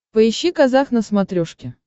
поищи казах на смотрешке